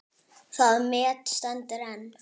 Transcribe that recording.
Það met stendur enn.